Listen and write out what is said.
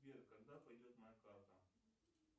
сбер когда придет моя карта